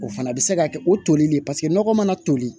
O fana bɛ se ka kɛ o tolilen paseke nɔgɔ mana toli